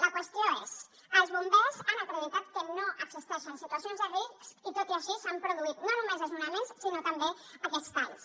la qüestió és els bombers han acreditat que no existeixen situacions de risc i tot i així s’han produït no només desnonaments sinó també aquests talls